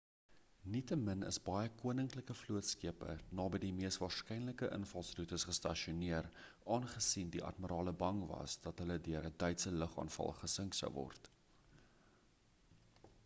nietemin is baie min koninklike vlootskepe naby die mees waarskynlike invalsroetes gestasioneer aangesien die admirale bang was dat hulle deur 'n duitse lugaanval gesink sou word